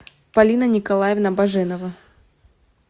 полина николаевна баженова